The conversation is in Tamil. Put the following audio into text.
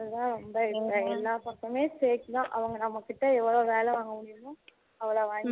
அதான் இந்த இந்த எல்லாம் பக்கமே பேச்சி தான் அவங்க நம்ம கிட்ட எவளோ வேலை வாங்க முடியுமோ அவளோ வாங்கிப்பாங்க